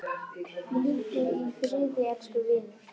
Hvíldu í friði elsku vinur.